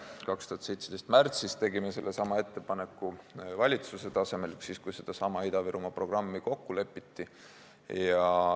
2017. aasta märtsis tegime sellesama ettepaneku valitsuse tasemel, kui sedasama Ida-Virumaa programmi kokku lepiti.